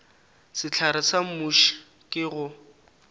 sehlare sa muši ke go